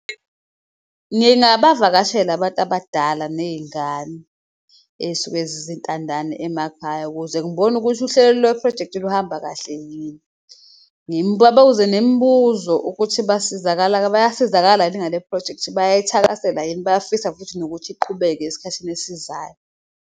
Ngingabavakashela abantu abadala neyingane ey'suke zizintandane emakhaya ukuze ngibone ukuthi uhlelo lweprojekthi luhamba kahle yini. Ngibabiza nembuzo ukuthi bayasizakalani ngale phrojekthi bayayithakasela yini, bayafisa futhi nokuthi iqhubeke esikhathini esizayo.